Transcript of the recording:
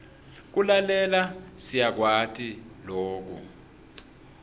kulalela siyakwati loku